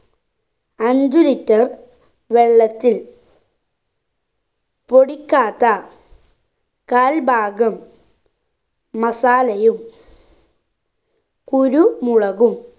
അഞ്ച്‌ litre വെള്ളത്തി പൊടിക്കാത്ത കാൽ ഭാഗം masala യും കുരുമുളകും